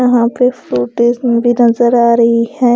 यहाँ पे फ्रूटिस भी नज़र आ रही है।